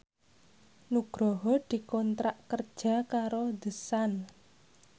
Nugroho dikontrak kerja karo The Sun